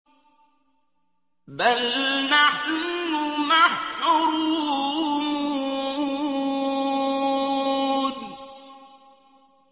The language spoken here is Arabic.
بَلْ نَحْنُ مَحْرُومُونَ